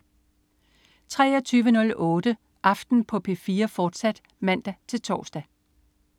23.08 Aften på P4, fortsat (man-tors)